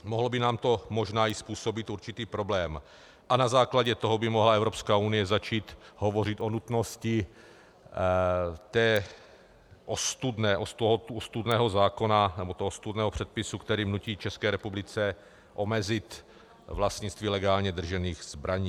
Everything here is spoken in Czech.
Mohlo by nám to možná i způsobit určitý problém a na základě toho by mohla Evropská unie začít hovořit o nutnosti toho ostudného zákona, nebo toho ostudného předpisu, který nutí České republice omezit vlastnictví legálně držených zbraní.